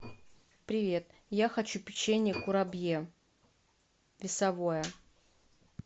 привет я хочу печенье курабье весовое